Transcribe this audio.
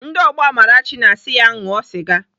Ndị ọgbọ Amarachi na-asị ya ṅụọ sịga